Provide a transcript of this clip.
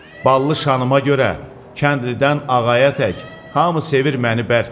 Ballı şanıma görə kəndlidən ağaya tək hamı sevir məni bərk.